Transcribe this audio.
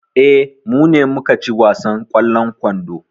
Eh, mu ne muka ci wasan ƙwallon kwando.